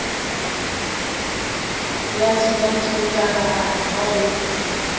ya debite otara ha o